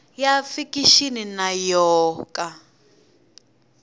ya fikixini na yo ka